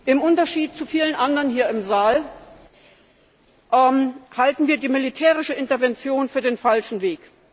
Im Unterschied zu vielen anderen hier im Saal halten wir die militärische Intervention für den falschen Weg.